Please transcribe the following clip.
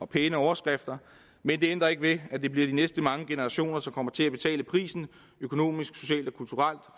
pæne overskrifter men det ændrer ikke ved at det bliver de næste mange generationer som kommer til at betale prisen økonomisk socialt og kulturelt